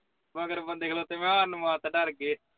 ਮਗਰ ਬੰਦੇ ਖਲੋਤੇ ਮੈਂ ਕਿਹਾ ਸਾਨੂੰ ਆਤ ਹੈ ਰਥ ਕਰਕੇ